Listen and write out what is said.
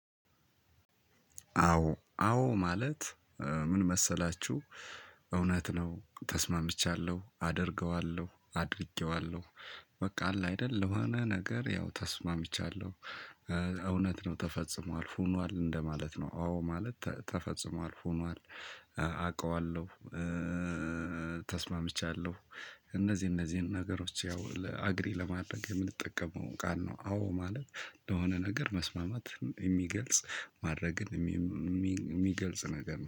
አዎ አዎ ማለት ምን መሰላችሁ እውነት ነው ተስማምቻለሁ አደርገዋለሁ አድርጌዋለሁ። በቃ አለ አይደል ለሆነ ነገር ያው ተስማምቻለሁ። እውነት ነው ተፈጽሞ አልፎ ሆኗል እንደማለት ነው። አዎ ማለት ተፈጽሞ አልፎ ሆኗል አውቀዋለሁ። ተስማምቻለሁ። እነዚህ እነዚህን ነገሮች ያው አግሪ ለማድረግ የምንጠቀመው ቃል ነው። አዎ ማለት ለሆነ ነገር መስማማትን የሚገልጽ ማድረግን ሚሚ የሚገልጽ ነገር ነው